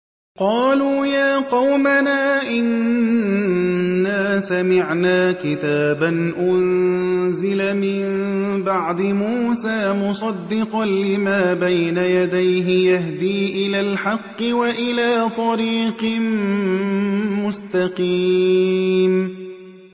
قَالُوا يَا قَوْمَنَا إِنَّا سَمِعْنَا كِتَابًا أُنزِلَ مِن بَعْدِ مُوسَىٰ مُصَدِّقًا لِّمَا بَيْنَ يَدَيْهِ يَهْدِي إِلَى الْحَقِّ وَإِلَىٰ طَرِيقٍ مُّسْتَقِيمٍ